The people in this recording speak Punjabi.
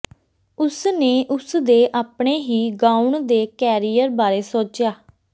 ਉਸ ਨੇ ਉਸ ਦੇ ਆਪਣੇ ਹੀ ਗਾਉਣ ਦੇ ਕੈਰੀਅਰ ਬਾਰੇ ਸੋਚਿਆ